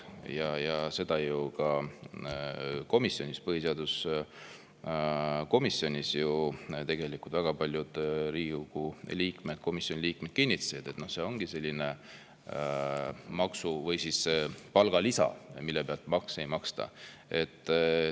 Ka põhiseaduskomisjonis tegelikult väga paljud Riigikogu liikmed, komisjoni liikmed ju kinnitasid, et see ongi selline palgalisa, mille pealt makse ei maksta.